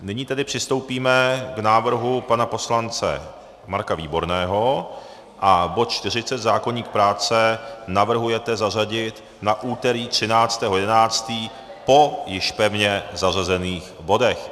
Nyní tedy přistoupíme k návrhu pana poslance Marka Výborného, bod 40, zákoník práce, navrhujete zařadit na úterý 13. 11. po již pevně zařazených bodech.